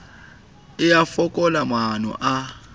e a fokola maano a